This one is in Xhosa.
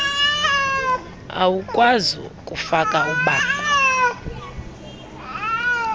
awukwazi kufaka bango